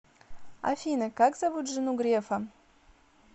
афина как зовут жену грефа